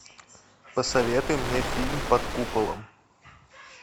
посоветуй мне фильм под куполом